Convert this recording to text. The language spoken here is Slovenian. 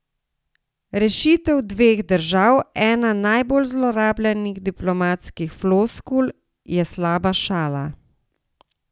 Rešitev dveh držav, ena najbolj zlorabljenih diplomatskih floskul, je slaba šala.